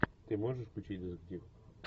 ты можешь включить детектив